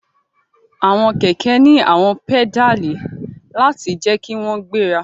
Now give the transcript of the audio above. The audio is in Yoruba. Awọn kẹkẹ ni awọn pedali lati jẹ ki wọn gbera